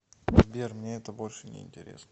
сбер мне это больше не интересно